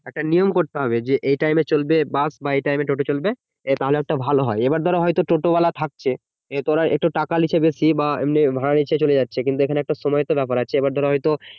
একটা নিয়ম করতে হবে যে এই time এ চলবে বাস বা এই time এ চলবে টোটো তাহলে একটা ভালো হয় এইবার ধরো হয়তো টোটো ওয়ালা থাকছে এ ওরা টাকা নিচ্ছে একটু বেশি বা ভাড়া নিয়ে চলে যাচ্ছে কিন্তু এইখানে সময়ের তো ব্যাপার আছে এইবার ধরো হয়তো